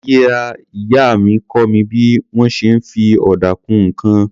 Ìyá-ìyá mi kọ́ mi bí wọ́n ṣe ń fi ọ̀dà kun nǹkan.